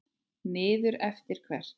Niður eftir hvert?